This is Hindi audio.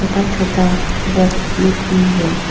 टच होता बॉक्स लोग भी है।